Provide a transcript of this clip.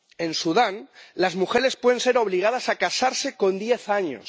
En Sudán las mujeres pueden ser obligadas a casarse con diez años.